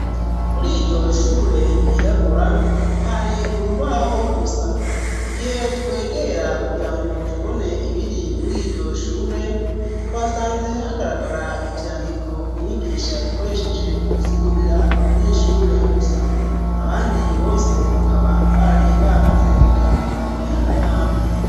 Kur'iryoshure ryirabura hari urubaho gusa, igihe twegera kugirango tubone ibiri mur'iryoshure twasanze hagaragara ivyandiko umwigisha yakoresheje mugusigurira abanyeshure gusa. Abandi bose bakaba bari bamaze gutaha mumihana yabo.